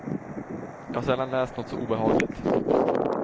Jag har sällan läst något så obehagligt.